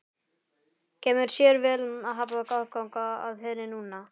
Kemur sér vel að hafa aðgang að henni núna!